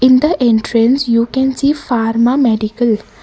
in the entrance you can see pharma medical.